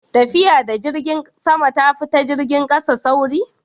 tafiya da jirgin sama ta fi na jirgin ƙasa sauri?